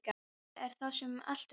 Auðvitað er það sá sem allt veit.